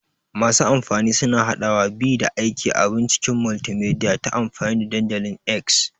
Masu amfani suna haɗawa, bi, da aika abun cikin multimedia ta amfani da dandalin X.